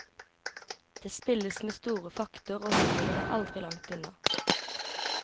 Det spilles med store fakter og humoren er aldri langt unna.